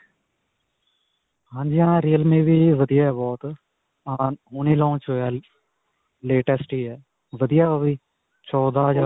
ਹਾਂਜੀ ਹਾਂ. real me ਵੀ ਵਧੀਆ ਹੈ. ਬਹੁਤ ਹਾਂ ਹੁਣੇ launch ਹੋਇਆ, latest ਹੀ ਹੈ. ਵਧੀਆ ਓਹ ਵੀ ਚੌਦਾਂ.